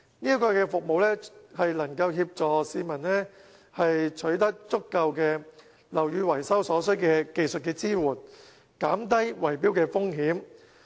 這項服務能協助市民取得樓宇維修所需的技術支援，減低圍標的風險。